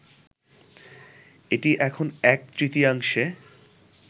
এটি এখন এক-তৃতীয়াংশে